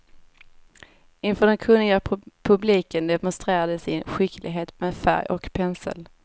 Inför den kunniga publiken demonstrerar de sin skicklighet med färg och pensel.